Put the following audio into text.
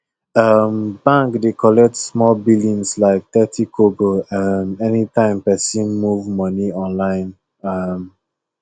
um bank dey collect small billings like thirty kobo um anytime person move money online um